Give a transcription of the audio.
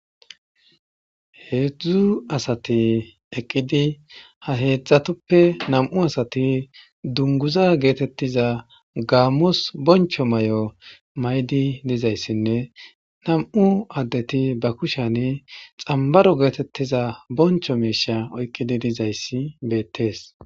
heedzdzu asati eqqidi ha heedzdzatoppe nam7u asati dunguza geetettiza gaammos boncho may7o maydi dizayssinne nam7u addeti ba kusheni xambaro geetettiza boncho meisha oykqidi dizayssi beettees